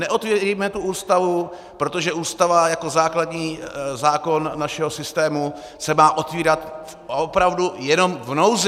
Neotevírejme tu Ústavu, protože Ústava jako základní zákon našeho systému se má otevírat opravdu jenom v nouzi.